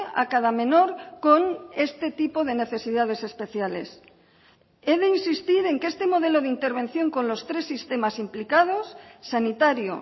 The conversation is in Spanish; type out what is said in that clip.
a cada menor con este tipo de necesidades especiales he de insistir en que este modelo de intervención con los tres sistemas implicados sanitario